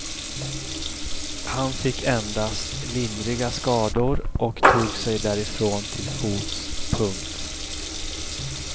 Han fick endast lindriga skador och tog sig därifrån till fots. punkt